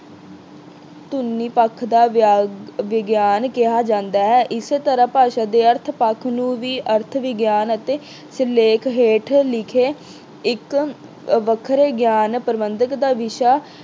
ਧੁਨੀ ਪੱਖ ਦਾ ਵਿਗਿਆਨ ਕਿਹਾ ਜਾਂਦਾ ਹੈ। ਇਸ ਤਰ੍ਹਾਂ ਭਾਸ਼ਾ ਦੇ ਅਰਥ ਪੱਖ ਨੂੰ ਵੀ ਅਰਥ ਵਿਗਿਆਨ ਅਤੇ ਸਿਰਲੇਖ ਹੇਠ ਲਿਖੇ ਇੱਕ ਵੱਖਰੇ ਗਿਆਨ ਪ੍ਰਬੰਧਕ ਦਾ ਵਿਸ਼ਾ